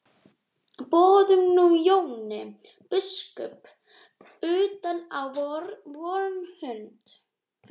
Boðum nú Jón biskup utan á vorn fund.